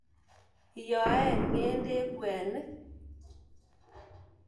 Iyoen nge'dek kwe'nik